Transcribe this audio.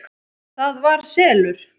ÞAÐ VAR SELUR!